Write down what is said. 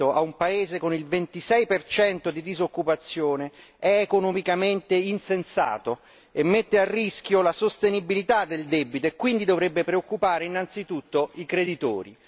a un paese con il 26 di disoccupazione è economicamente insensato e mette a rischio la sostenibilità del debito e quindi dovrebbe preoccupare innanzitutto i creditori.